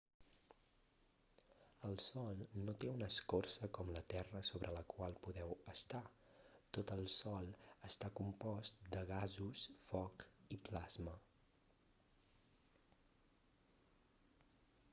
el sol no té una escorça com la terra sobre la qual podeu estar tot el sol està compost de gasos foc i plasma